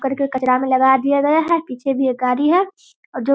करके कचरा में लगा दिया गया है पीछे भी एक गाड़ी है जो --